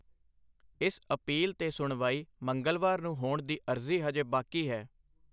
ਇਸ ਅਪੀਲ 'ਤੇ ਸੁਣਵਾਈ ਮੰਗਲਵਾਰ ਨੂੰ ਹੋਣ ਦੀ ਅਰਜ਼ੀ ਹਜੇ ਬਾਕੀ ਹੈ।